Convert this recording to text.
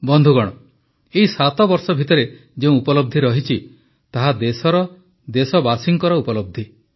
ବନ୍ଧୁଗଣ ଏହି 7 ବର୍ଷ ଭିତରେ ଯେଉଁ ଉପଲବ୍ଧି ରହିଛି ତାହା ଦେଶର ଦେଶବାସୀଙ୍କର ଉପଲବ୍ଧି